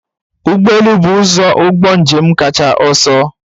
Ụgbọ elu bụ ụzọ ụgbọ njem kacha ọsọ.